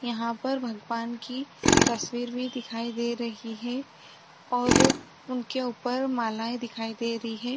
यहाँ पर भगवन की तस्वीर भी दिखाई दे रही है और उनके ऊपर मालाएं दिखाई दे रही है।